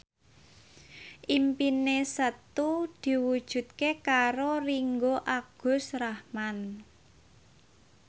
impine Setu diwujudke karo Ringgo Agus Rahman